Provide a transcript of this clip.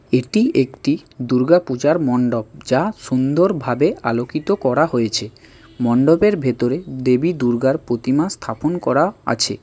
এটি একটি দূর্গা পূজার মন্ডপ যা সুন্দরভাবে আলোকিত করা হয়েছে মন্ডপের ভেতরে দেবী দুর্গার প্রতিমা স্থাপন করা আছে।